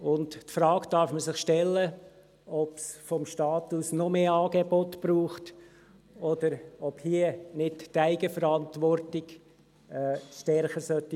Man darf sich die Frage stellen, ob es vom Staat aus noch mehr Angebote braucht, oder ob hier nicht die Eigenverantwortung stärker spielen sollte.